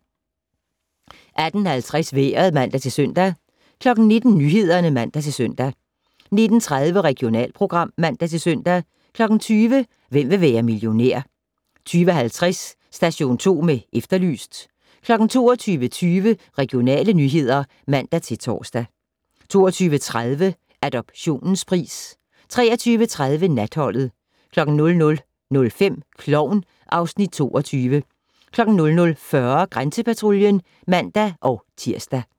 18:50: Vejret (man-søn) 19:00: Nyhederne (man-søn) 19:30: Regionalprogram (man-søn) 20:00: Hvem vil være millionær? 20:50: Station 2 med Efterlyst 22:20: Regionale nyheder (man-tor) 22:30: Adoptionens pris 23:30: Natholdet 00:05: Klovn (Afs. 22) 00:40: Grænsepatruljen (man-tir)